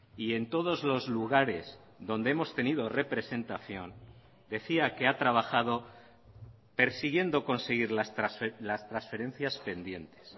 y en todos los lugares donde hemos tenido representación decía que ha trabajado persiguiendo conseguir las transferencias pendientes